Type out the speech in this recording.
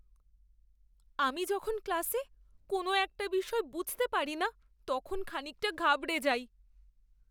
আমি যখন ক্লাসে কোনও একটা বিষয় বুঝতে পারি না তখন খানিকটা ঘাবড়ে যাই!